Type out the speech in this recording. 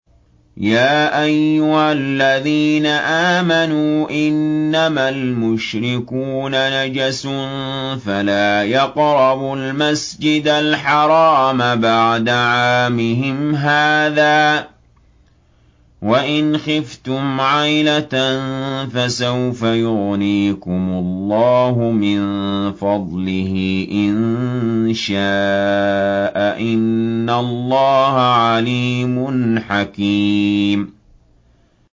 يَا أَيُّهَا الَّذِينَ آمَنُوا إِنَّمَا الْمُشْرِكُونَ نَجَسٌ فَلَا يَقْرَبُوا الْمَسْجِدَ الْحَرَامَ بَعْدَ عَامِهِمْ هَٰذَا ۚ وَإِنْ خِفْتُمْ عَيْلَةً فَسَوْفَ يُغْنِيكُمُ اللَّهُ مِن فَضْلِهِ إِن شَاءَ ۚ إِنَّ اللَّهَ عَلِيمٌ حَكِيمٌ